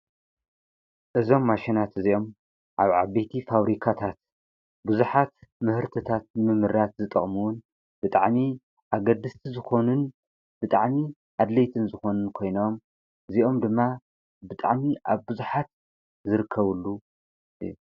እዞም ማሽናት እዚኦም ኣብ ዓቤቲ ፋብሪካታት ብዙኃት ምህርትታት ምምራት ዝጠቕምውን ብጥዕኒ ኣገድስቲ ዝኾንን ብጥዕኒ ኣድለይትን ዝኾንን ኮይኖም እዚኦም ድማ ብጥዕኒ ኣብ ብዙኃት ዘርከቡሉ እዩ።